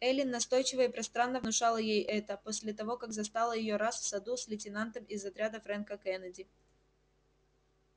эллин настойчиво и пространно внушала ей это после того как застала её раз в саду с лейтенантом из отряда фрэнка кеннеди